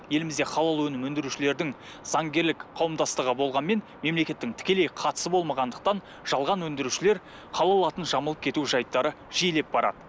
елімізде халал өнімін өндірушілердің заңгерлік қауымдастығы болғанмен мемлекеттің тікелей қатысы болмағандықтан жалған өндірушілер халал атын жамылып кету жайттары жиілеп барады